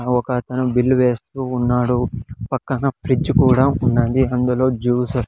ఒక అతను బిల్ వేస్తూ ఉన్నాడు పక్కన ఫ్రిడ్జ్ కూడా ఉన్నది అందులో జ్యూస్ .